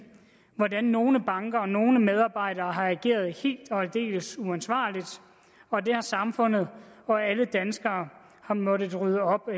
hvordan nogle banker og nogle medarbejdere har ageret helt og aldeles uansvarligt og det har samfundet og alle danskere måttet rydde op